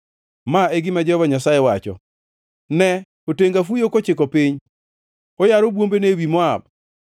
Ma e gima Jehova Nyasaye wacho: “Ne! Otenga fuyo kochiko piny, oyaro bwombene ewi Moab.